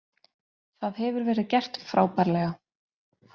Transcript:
Það hefur verið gert frábærlega.